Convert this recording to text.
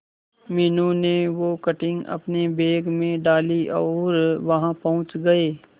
मीनू ने वो कटिंग अपने बैग में डाली और वहां पहुंच गए